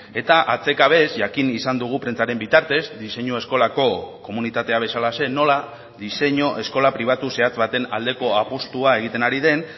eta atsekabez jakin izan dugu prentsaren bitartez diseinu eskolako komunitatea bezalaxe nola diseinu eskola pribatu zehatz baten aldeko apustua egiten ari den